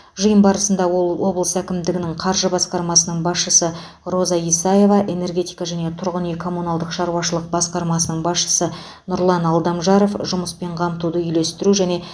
жиын барысында ол облыс әкімдігінің қаржы басқармасының басшысы роза исаева энергетика және тұрғын үй коммуналдық шаруашылық басқармасының басшысы нұрлан алдамжаров жұмыспен қамтуды үйлестіру және